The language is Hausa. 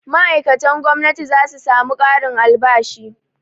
Ma'aikatan gwamnati za su samu ƙarin albashi.